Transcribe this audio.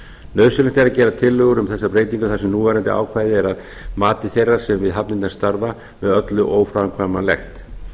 nauðsynlegt er að gera tillögur um þessar breytingar þar sem núverandi ákvæði eru að mati þeirra sem við hafnirnar starfa með öllu óframkvæmanlegt